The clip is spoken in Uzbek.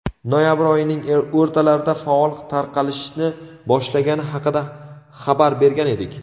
noyabr oyining o‘rtalarida faol tarqalishni boshlagani haqida xabar bergan edik.